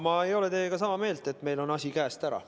Ma ei ole teiega sama meelt, et meil on asi käest ära.